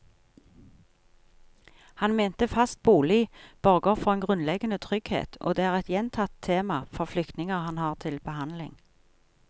Han mente fast bolig borger for en grunnleggende trygghet, og det er et gjentatt tema for flyktninger han har til behandling.